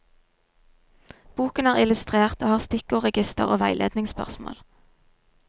Boken er illustrert og har stikkordsregister og veiledningsspørsmål.